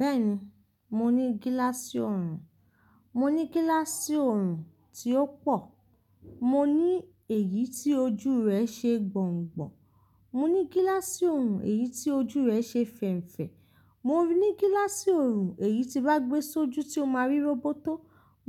Bẹ́ẹ̀ni, mo ní gíláàsì ọorùn, mo ní gíláàsì ọorùn tí ó pọ̀, mo ní èyí tí ojú rẹ̀ ṣe gbọ̀ǹgbọ̀ǹ, mo ní gíláàsì oọrùn èyí tí ojú rẹ̀ ṣe fẹ̀ńfẹ̀, mo ní gíláàsì ọorùn èyí tí bá gbe sójú tó máa rí róbótó,